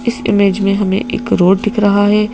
इस इमेज में हमें एक रोड दिख रहा है.